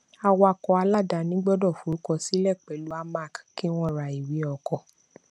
awakọ aláàdáni gbọdọ forúkọ sílẹ pẹlú amac kí wọn rà ìwé ọkọ